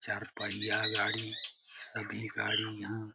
चार पहिया गाड़ी सभी गाड़ी --